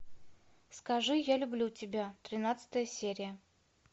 скажи я люблю тебя тринадцатая серия